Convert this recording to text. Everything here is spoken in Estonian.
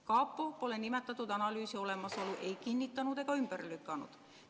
Kapo pole nimetatud analüüsi olemasolu ei kinnitanud ega ümber lükanud.